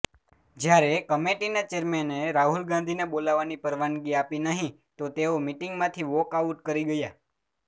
જ્યારે કમેટીના ચેરમેને રાહુલ ગાંધીને બોલવાની પરવાનગી આપી નહીં તો તેઓ મીટિંગમાંથી વોકઆઉટ કરી ગયા